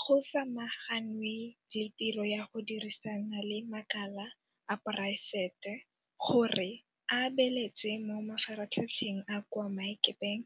Go samaganwe le tiro ya go dirisana le makala a poraefete gore a beeletse mo mafaratlhatlheng a kwa maemakepeng